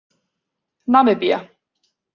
Namibía